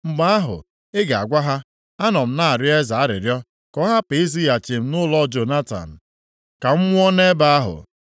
mgbe ahụ ị ga-agwa ha, ‘Anọ m na-arịọ eze arịrịọ ka ọ hapụ izighachi m nʼụlọ Jonatan, ka m nwụọ nʼebe ahụ.’ ”